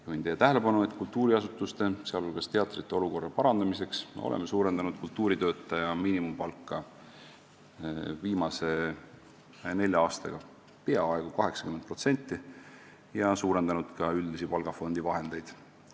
Juhin teie tähelepanu, et kultuuriasutuste, sh teatrite olukorra parandamiseks oleme suurendanud kultuuritöötaja miinimumpalka viimase nelja aastaga peaaegu 80% ja suurendanud ka üldisi palgafondi vahendeid.